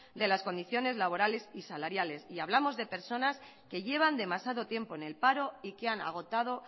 de las condiciones laborales y salarias y hablamos de personas que llevan demasiado tiempo en el paro y que han agotado